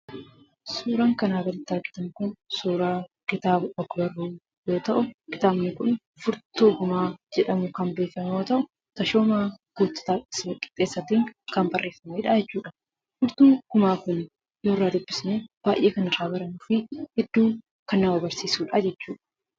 Suuraan kanaa gaditti argitan kun, suuraa kitaaba og-barruu yoo ta'u, kitaabni kun "Furtuu gumaa " jedhamuun kan beekamu yoo ta'u, Tashoomaa Guuttataa Qixxeessaatiin kan barreeffameedha jechuudha. Furtuun gumaa kun yoo irraa dubbisne, baayyee kan irraa barannuufi hedduu kan nama barsiisudha jechuudha.